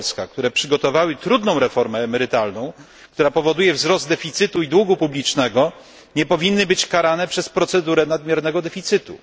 jak Polska, które przygotowały trudną reformę emerytalną, która powoduje wzrost deficytu i długu publicznego, nie powinny być karane przez procedurę nadmiernego deficytu.